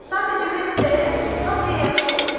Sadəcə mən istəyirəm ki, hamıya yaxşı olsun.